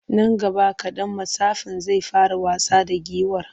Nan gaba kaɗan mattsafin zai fara wasa da giwar.